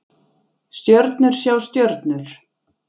Stjörnur sjá stjörnur